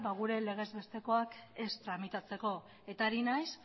gure legez bestekoak ez tramitatzeko eta ari naiz